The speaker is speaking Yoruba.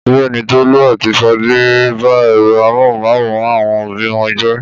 Bẹ́ẹ̀ ni, Tolú àti Fadé ba ẹ̀rọ amóhùmáwòhán àwọn òbí wọn jẹ́.